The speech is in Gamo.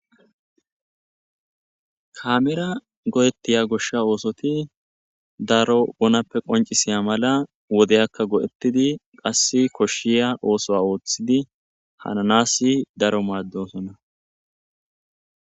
kaamira go7ettiya goshsha oosoti daro bonappe qoncisiya mala wodeyakka go7ettidi qass koshshiya oosoa ooththidi hananasi daro maaddosona